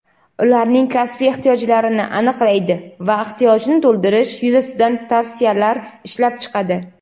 ularning kasbiy ehtiyojlarini aniqlaydi va ehtiyojni to‘ldirish yuzasidan tavsiyalar ishlab chiqadi;.